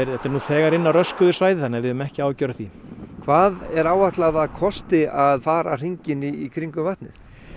þetta er nú þegar inni á röskuðu svæði þannig að við höfum ekki áhyggjur af því hvað er áætlað að það kosti að fara hringinn í kringum vatnið